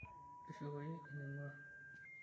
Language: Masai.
Tushukoyu ening'uaa.